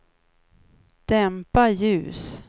dämpa ljus